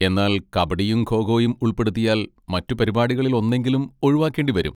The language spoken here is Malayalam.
എന്നാൽ കബഡിയും ഖോ ഖോയും ഉൾപ്പെടുത്തിയാൽ മറ്റു പരിപാടികളിൽ ഒന്നെങ്കിലും ഒഴിവാക്കേണ്ടി വരും.